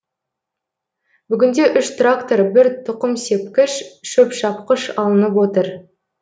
бүгінде үш трактор бір тұқымсепкіш шөпшапқыш алынып отыр